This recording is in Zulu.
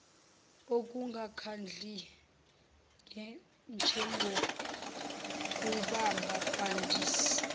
okungakhandli njengokuhamba kwandisa